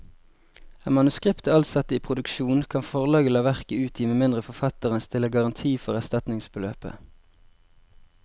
Er manuskriptet alt satt i produksjon, kan forlaget la verket utgi med mindre forfatteren stiller garanti for erstatningsbeløpet.